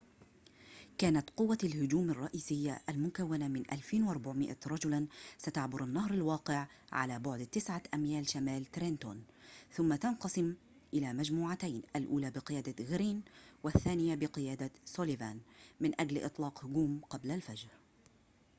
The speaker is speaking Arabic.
كانت قوّة الهجوم الرئيسيّة المكوّنة من 2,400 رجلاً ستعبر النهر الواقع على بعد تسعة أميال شمال ترينتون ثم تنقسم إلى مجموعتين الأولى بقيادة غرين والثانية بقيادة سوليفان من أجل إطلاق هجوم قبل الفجر